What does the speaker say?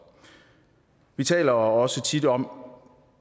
vi taler også tit om